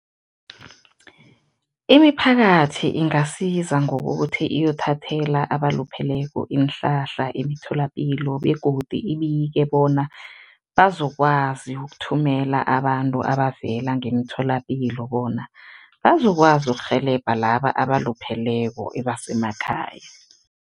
Imiphakathi ingasiza ngokuthi iyothathela abalupheleko iinhlahla emitholapilo begodi ibike bona, bazokwazi ukuthumela abantu abavela ngemtholapilo bona, bazokwazi ukurhelebha laba abalupheleko ebasemakhaya.